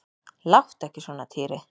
Láttu ekki svona Týri.